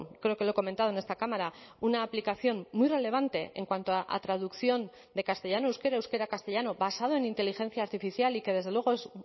creo que lo he comentado en esta cámara una aplicación muy relevante en cuanto a traducción de castellano euskera euskera castellano basado en inteligencia artificial y que desde luego es